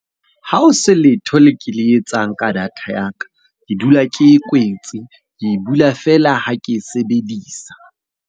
Ha o se letho le ke le etsang ka data ya ka, ke dula ke e kwetse. Ke e bula feela ha ke e sebedisa.